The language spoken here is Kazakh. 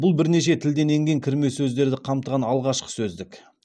бұл бірнеше тілден енген кірме сөздерді қамтыған алғашқы сөздік